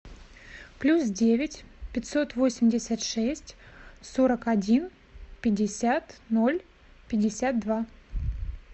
плюс девять пятьсот восемьдесят шесть сорок один пятьдесят ноль пятьдесят два